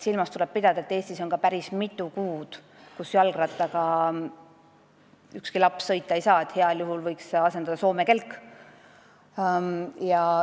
Silmas tuleb pidada ka seda, et Eestis on päris mitu kuud, kui ükski laps jalgrattaga sõita ei saa – heal juhul võiks seda asendada Soome kelk.